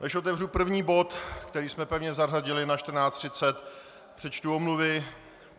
Než otevřu první bod, který jsme první zařadili na 14.30, přečtu omluvy.